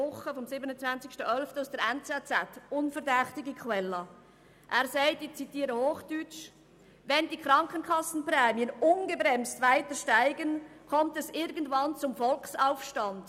Er hat in der «NZZ» vom 27. 11. 2017, einer unverdächtigen Quelle, gesagt, wenn die Krankenkassenprämien ungebremst weiter steigen, komme es irgendwann zum Volksaufstand.